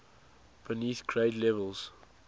beneath grade levels